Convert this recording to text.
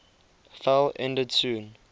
fell ended soon